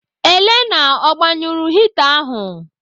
Elenna ọ gbanyụrụ hita ahụ?